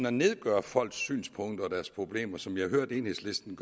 og nedgøre folks synspunkter og problemer som jeg hørte enhedslisten